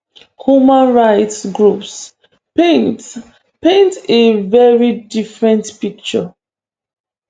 human rights groups paint paint a veri different picture